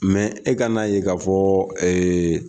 e ka n'a ye ka fɔ ee